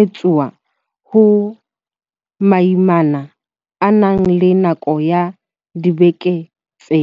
etsuwa ha moimana a na le nako ya dibeke tse